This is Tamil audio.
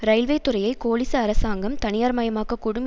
இரயில்வே துறையை கோலிச அரசாங்கம் தனியார் மயமாக்கக்கூடும்